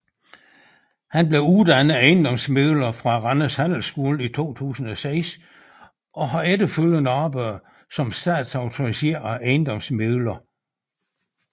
Han blev uddannet ejendomsmægler fra Randers Handelsskole i 2006 og har efterfølgende arbejdet som statsautoriseret ejendomsmægler